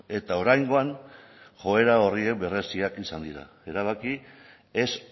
eta oraingoan joera horiek berretsiak izan dira erabaki ez